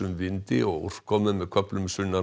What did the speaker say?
vindi og úrkomu með köflum sunnan